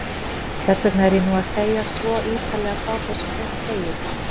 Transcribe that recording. Hversvegna er ég nú að segja svo ýtarlega frá þessum eina degi?